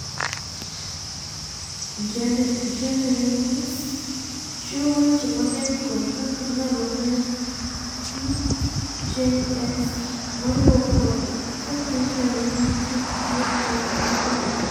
Genereviews chiwo weche mang'eny kuom kaka inyalo ng'e PJS moriwo koda kaka inyalo ng'e kit thieth mar tuwono.